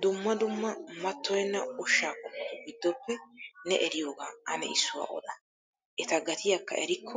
Dumma dumma mattoyenna ushshaa qommotu gidoppe ne eriyoogaa ane issuwaa ode? Eta gatiyaakka erikko